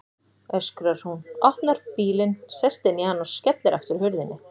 öskrar hún, opnar bílinn, sest inn í hann og skellir aftur hurðinni.